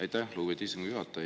Aitäh, lugupeetud istungi juhataja!